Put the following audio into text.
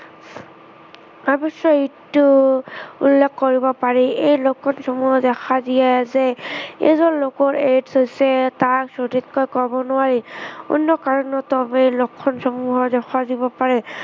অৱশ্য়ে এইটো উল্লেখ কৰিব পাৰি যে এই লক্ষণসমূহ দেখা দিয়াই যে এজন লোকৰ AIDS হৈছে তাৰ সঠিককৈ কৱ নোৱাৰি। অন্য় কাৰণতো অৱশ্য়ে এই লক্ষণসমূহ দেখা দিব পাৰে।